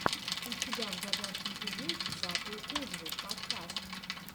у тебя в загашнике есть батл куджи подкаст